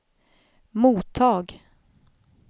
mottag